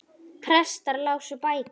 Prestar lásu bækur.